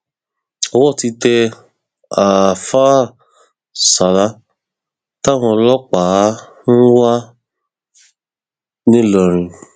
owó ti tẹ àáfáà sala táwọn ọlọpàá ń wá ńìlọrin